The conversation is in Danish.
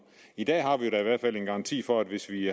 i dag har vi da i hvert fald en garanti for at hvis vi